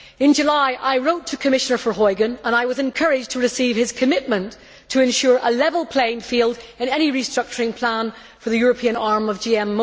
In July, I wrote to Commissioner Verheugen and I was encouraged by receiving his commitment to ensure a level playing field in any restructuring plan for the European arm of GM.